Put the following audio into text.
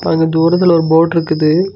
அங்க தூரத்துல ஒரு போட்ருக்குது .